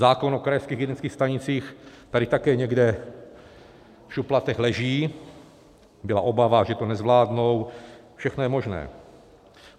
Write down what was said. Zákon o krajských hygienických stanicích tady také někde v šuplatech leží, byla obava, že to nezvládnou, všechno je možné.